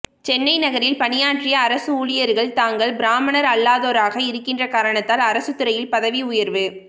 சென்னை நகரில் பணியாற்றிய அரசு ஊழியர்கள் தாங்கள் பிராமணர் அல்லாதோராக இருக்கின்ற காரணத்தால் அரசு துறையில் பதவி உயர்வு